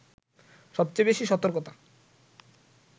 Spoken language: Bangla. সবচেয়ে বেশি সতর্কতা